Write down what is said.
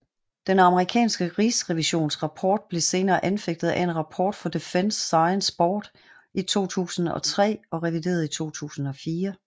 Den amerikanske rigsrevisions rapport blev senere anfægtet af en rapport fra Defense Sciences Board i 2003 og revideret i 2004